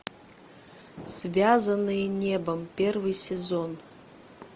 связанные небом первый сезон